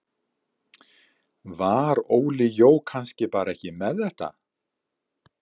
Var Óli Jó kannski bara ekki með þetta?